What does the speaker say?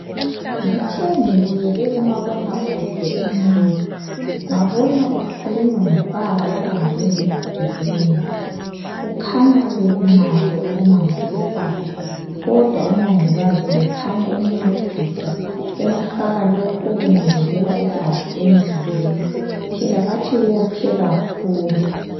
Ngithe ngibukele umabonakude emini, ngabona kukhulunywa ngobaba obanjwe yizigebengu kukhanya ubelimale okumangalisaho kodwa umongikazi ubekhanya emcedisa emfaka lokhu okwengezelela igazi emzimbeni, phela bathi wophe kakhlulu.